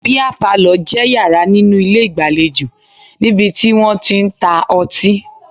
Bíà palọ̀ jẹ́ yàrá nínú ilé ìgbàlejò níbi tí wọ́n tí ń ta ọtí